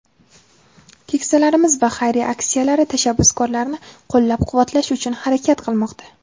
keksalarimiz va xayriya aksiyalari tashabbuskorlarini qo‘llab-quvvatlash uchun harakat qilmoqda.